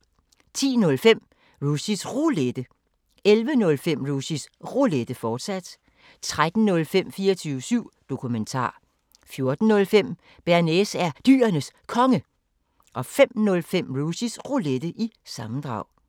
10:05: Rushys Roulette 11:05: Rushys Roulette, fortsat 13:05: 24syv Dokumentar 14:05: Bearnaise er Dyrenes Konge 05:05: Rushys Roulette – sammendrag